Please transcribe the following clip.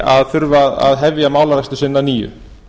að þurfa að hefja málarekstur sinn að nýju